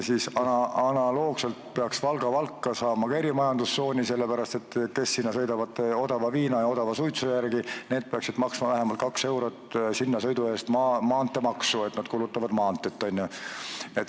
Siis analoogselt peaks ka Valga ja Valka saama erimajandustsooni, sellepärast et kes sinna sõidavad odava viina ja odava suitsu järgi, need peaksid maksma vähemalt 2 eurot sinnasõidu eest maanteemaksu, sest nad kulutavad maanteed.